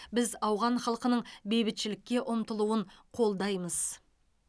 біз ауған халқының бейбітшілікке ұмтылуын қолдаймыз